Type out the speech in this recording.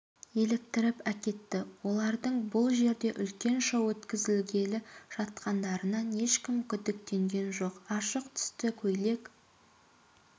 еліктіріп әкетті олардың бұл жерде үлкен шоу өткізгелі жатқандарынан ешкім күдіктенген жоқ ашық түсті көйлек